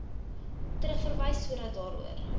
terugverwys sodat daaroor